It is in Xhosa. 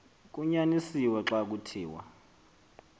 kunyanisiwe xa kuthiwa